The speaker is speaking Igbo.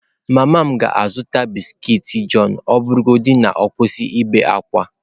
Mama m ka ga-azụta biskiiti john ọ bụrụgodị na ọ kwụsị ibe ákwá.